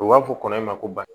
U b'a fɔ kɔnɔ in ma ko ba